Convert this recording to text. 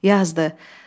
Yazdı.